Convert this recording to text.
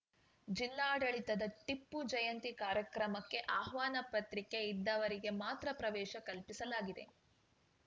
ಜಿಲ್ಲಾಡಳಿತದ ಟಿಪ್ಪು ಜಯಂತಿ ಕಾರ್ಯಕ್ರಮಕ್ಕೆ ಆಹ್ವಾನ ಪತ್ರಿಕೆ ಇದ್ದವರಿಗೆ ಮಾತ್ರ ಪ್ರವೇಶ ಕಲ್ಪಿಸಲಾಗಿದೆ